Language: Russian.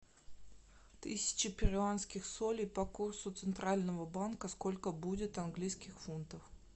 тысяча перуанских солей по курсу центрального банка сколько будет английских фунтов